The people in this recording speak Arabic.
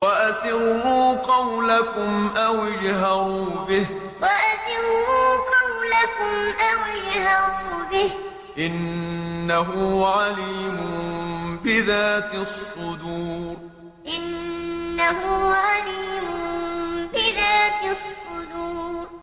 وَأَسِرُّوا قَوْلَكُمْ أَوِ اجْهَرُوا بِهِ ۖ إِنَّهُ عَلِيمٌ بِذَاتِ الصُّدُورِ وَأَسِرُّوا قَوْلَكُمْ أَوِ اجْهَرُوا بِهِ ۖ إِنَّهُ عَلِيمٌ بِذَاتِ الصُّدُورِ